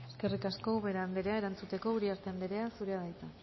eskerrik asko ubera anderea erantzuteko uriarte anderea zurea da hitza